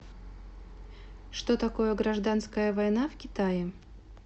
что такое гражданская война в китае